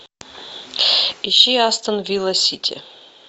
ищи астон вилла сити